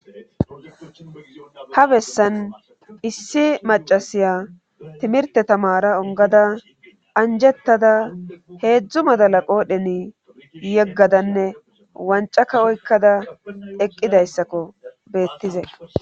Ha bessan issi macasiya timirte tamara ongada anjettada heedzdzu madala qoodheni yeggadanne wanca ka oykkada eqqidayssakko beettize.